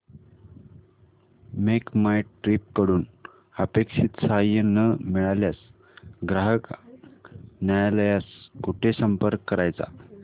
make My Trip कडून अपेक्षित सहाय्य न मिळाल्यास ग्राहक न्यायालयास कुठे संपर्क करायचा